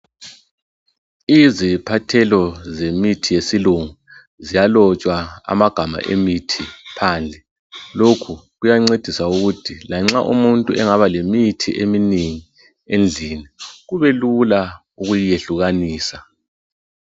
Iziphathelo zemithi yesilungu, ziyalotshwa amagama emithi phandle. Lokhu kuyancedisa ukuthi lanxa umuntu engaba lemithi eminengi endlini, kube lula ukuyehlukanisa.